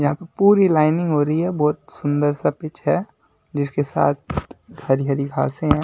यहां पर पूरी लाइनिंग हो रही है बहुत सुंदर सा पिच है जिसके साथ हरी हरी घासें है।